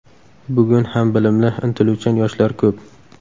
Bugun ham bilimli, intiluvchan yoshlar ko‘p.